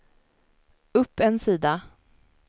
upp en sida